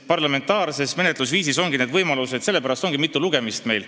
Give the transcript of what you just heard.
Parlamentaarses menetlusviisis on olemas võimalused eelnõusid parandada, sellepärast meil ongi mitu lugemist.